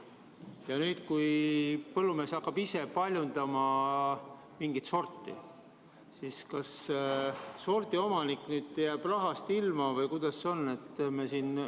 Kui nüüd põllumees hakkab ise paljundama mingit sorti, siis kas sordiomanik jääb seetõttu rahast ilma või kuidas sellega on?